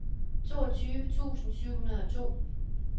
toogtyve tusind syv hundrede og to